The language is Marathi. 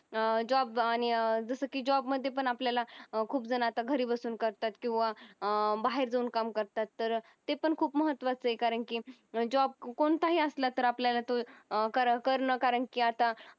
अं job आणि जसं की job मध्ये पण आपल्याला खूप जण आता घरी बसून करतात किंवा अं बाहेर जाऊन काम करतात तर ते पण खूप महत्त्वाचये कारण की job कोणताही असला तर आपल्याला तो करण कारण की आता